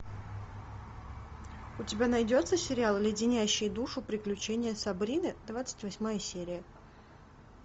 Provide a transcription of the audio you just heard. у тебя найдется сериал леденящие душу приключения сабрины двадцать восьмая серия